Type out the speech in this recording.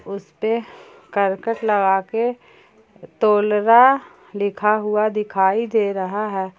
उसे पे करकट लगा के तोलारा लिखा हुआ दिखाई दे रहा है।